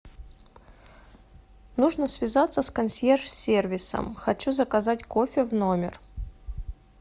нужно связаться с консьерж сервисом хочу заказать кофе в номер